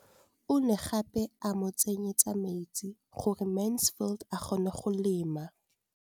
O ne gape a mo tsenyetsa metsi gore Mansfield a kgone go lema.